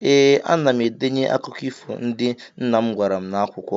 Ee, ana m edenye akụkụ ifo ndị nna m gwara m n'akwụkwọ.